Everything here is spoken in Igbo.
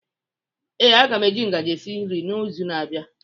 Ee, a ga m eji ngaji esi nri n'izu na-abịa.